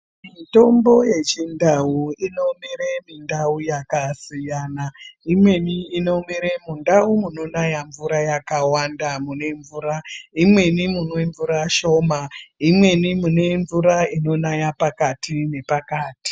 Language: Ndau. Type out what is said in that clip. Mutombo yechindau inomere mundau yakasiyana. Imweni inomere mundawu munonaya mvura yakawanda mvura, imweni munemvura shoma, imweni kunemvura inonaya pakati nepakati.